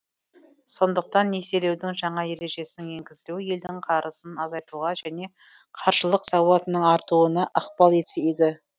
сондықтан несиелеудің жаңа ережесінің енгізілуі елдің қарызын азайтуға және қаржылық сауатының артуына ықпал етсе игі